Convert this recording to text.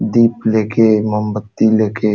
दीप ले के मोमबत्ती ले के --